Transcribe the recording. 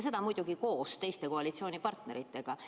Seda muidugi koos koalitsioonipartneritega.